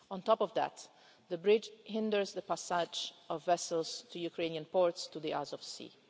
On top of that, the bridge hinders the passage of vessels to Ukrainian ports, to the Azov Sea.